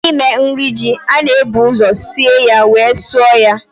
N'ime nri Ji, a na-ebu ụzọ sie ya wee sụọ ya